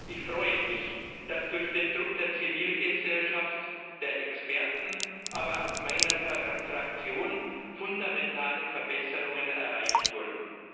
Ich freue mich, dass durch den Druck der Zivilgesellschaft, der Experten, aber auch meiner Fraktion fundamentale Verbesserungen erreicht wurden.